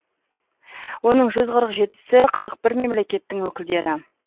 оның жүз қырық жетісі қырық бір мемлекеттің өкілдері